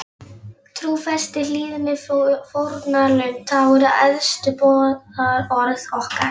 Trúfesti, hlýðni, fórnarlund, það voru æðstu boðorð okkar.